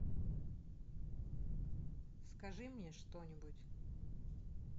скажи мне что нибудь